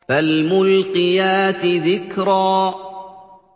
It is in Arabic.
فَالْمُلْقِيَاتِ ذِكْرًا